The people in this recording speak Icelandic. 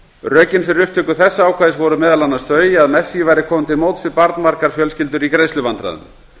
rökin fyrir upptöku þessa ákvæðis voru meðal annars þau að með því væri komið til móts við barnmargar fjölskyldur í greiðsluvandræðum